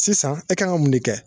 Sisan e kan ka mun ne kɛ